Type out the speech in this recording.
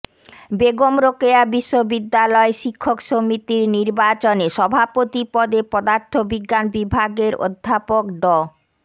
বেগম রোকেয়া বিশ্ববিদ্যালয় শিক্ষক সমিতির নির্বাচনে সভাপতি পদে পদার্থবিজ্ঞান বিভাগের অধ্যাপক ড